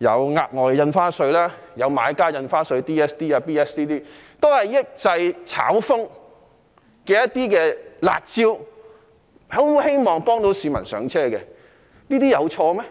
額外印花稅、買家印花稅等，這些均是抑制"炒風"的"辣招"，希望能夠幫助市民"上車"，這樣有錯嗎？